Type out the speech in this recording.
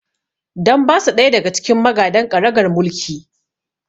Dan ba su ɗaya daga cikin magadan ƙaragar mulki